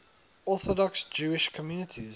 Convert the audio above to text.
orthodox jewish communities